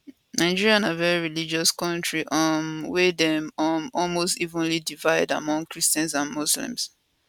nigeria na very religious kontri um wey dey um almost evenly divided among christians and muslims